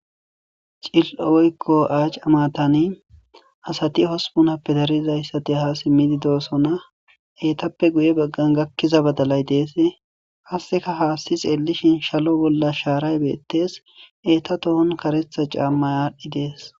Cililo woyko aaca maatani issipe asati hospun gidiza asati ha simmidi doosona etappe guye baggan gakiza badalay dees. hasi xelishin salo bolasharayi deyes